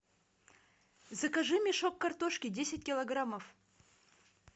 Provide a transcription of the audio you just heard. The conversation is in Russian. закажи мешок картошки десять килограммов